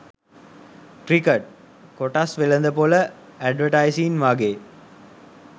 "cricket" "කොටස් වෙළඳපොල" "advertising" වගේ